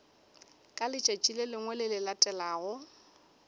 ka letšatši le le latelago